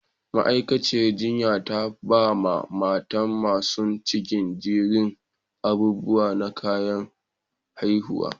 Ma'aikaciyar jinyan ta ba ma mata masun cikin jerin abubuwa na kayan haihuwa.